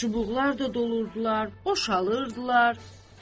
Çubuqlar da doldurdular, boşalırdılar.